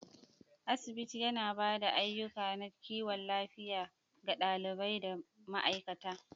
Asibiti, yana ba da ayukan na kiwon lafiya ga ɗalibai da ma'aikata.